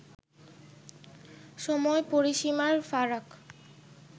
সময়-পরিসীমার ফারাক